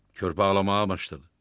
Körpə ağlamağa başladı.